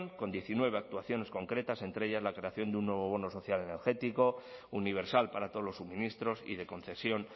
con diecinueve actuaciones concretas entre ellas la creación de un nuevo bono social energético universal para todos los suministros y de concesión